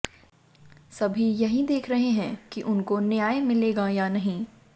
सभी यही देख रहे हैं कि उनको न्याय मिलेगा या नही